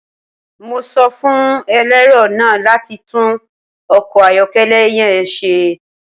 Mo sọ fun ẹlẹrọ naa lati tun ọkọ ayọkẹlẹ yẹn ṣe